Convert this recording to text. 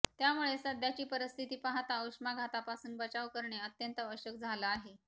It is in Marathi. त्यामुळे सध्याची परिस्थिती पाहता उष्माघातापासून बचाव करणे अत्यंत आवश्यक झालं आहे